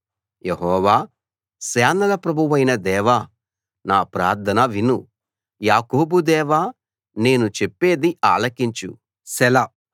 యెహోవా సేనల ప్రభువైన దేవా నా ప్రార్థన విను యాకోబు దేవా నేను చెప్పేది ఆలకించు సెలా